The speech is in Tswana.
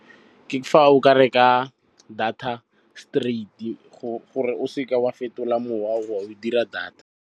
Ke fa o ka reka data straight, gore o seke wa fetola mowa o a dira data.